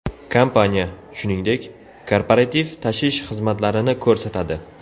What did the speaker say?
Kompaniya, shuningdek, korporativ tashish xizmatlarini ko‘rsatadi.